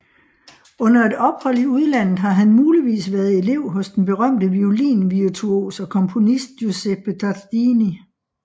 Under et ophold i udlandet har han muligvis været elev hos den berømte violinvirtuos og komponist Giuseppe Tartini